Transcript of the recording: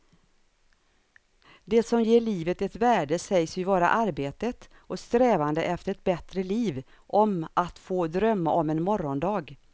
Det som ger livet ett värde sägs ju vara arbetet och strävandet efter ett bättre liv, om att få drömma om en morgondag.